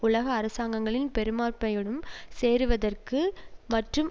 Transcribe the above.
உலக அரசாங்கங்களின் பெரும்பார்மையுடன் சேருவதற்கு மற்றும்